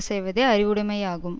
செய்வதே அறிவுடைமையாகும்